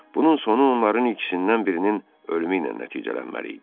Bunun sonu onların ikisindən birinin ölümü ilə nəticələnməli idi.